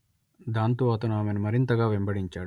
దాంతో అతను ఆమెను మరింతగా వెంబడించాడు